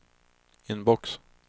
inbox